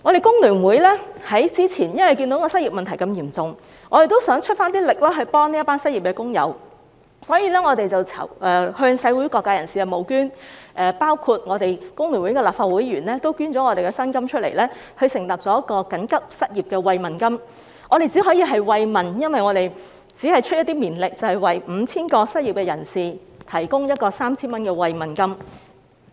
工聯會早前看到失業問題嚴重，也想出一點力協助這群失業的工友，因此我們向社會各界人士募捐，包括我們工聯會的立法會議員也捐出他們的薪金，設立了一項緊急失業慰問金，我們只可以慰問，因為我們只是出一點綿力，為 5,000 名失業人士提供 3,000 元慰問金。